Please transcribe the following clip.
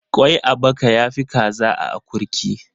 Ƙwai a baka ya fi kaza a akurki.